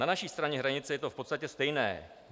Na naší straně hranice je to v podstatě stejné.